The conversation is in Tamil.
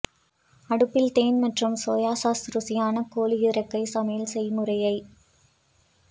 அடுப்பில் தேன் மற்றும் சோயா சாஸ் ருசியான கோழி இறக்கை சமையல் செய்முறையை